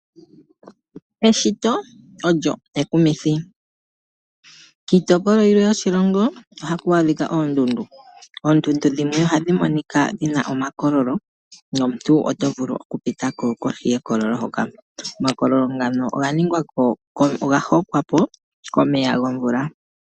Eshito olyo ekumithi. Kiitopolwa yilwe yoshilongo , ohaku adhika oondundu. Oondundu dhimwe ohadhi monika dhina omakololo nomuntu oto vulu okupita ko kohi yekololo hoka . Omakololo ngano oga hokwa po komeya gomvula.